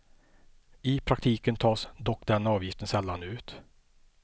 I praktiken tas dock den avgiften sällan ut.